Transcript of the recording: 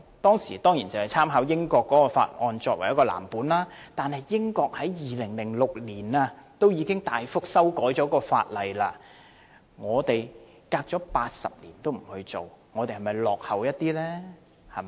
該條例當時以英國的法例為藍本，但英國已於2006年對相關法例作大幅修訂，反觀我們事隔80年從未作過任何修訂，是否太落後了？